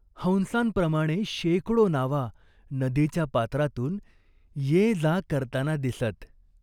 हंसांप्रमाणे शेकडो नावा नदीच्या पात्रातून ये जा करताना दिसत.